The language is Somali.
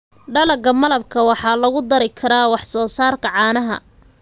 Dalagga malabka waxaa lagu dari karaa wax soo saarka caanaha.